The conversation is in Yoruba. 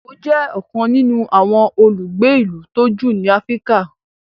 Eko jé ọkan nínú àwọn olùgbé ilú tó jù ní Africa.